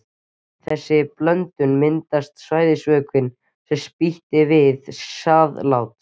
Við þessa blöndun myndast sæðisvökvinn, sem spýtist út við sáðlát.